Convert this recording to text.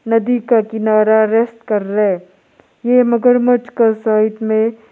नदी का किनारा रेस्ट कर रहा है ये मगरमच्छ का साइड में--